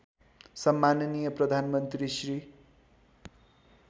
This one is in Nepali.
सम्माननीय प्रधानमन्त्री श्री